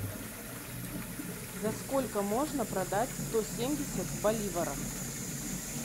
за сколько можно продать сто семьдесят боливаров